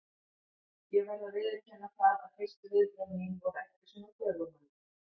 Ég verð að viðurkenna það að fyrstu viðbrögð mín voru ekki svona göfugmannleg.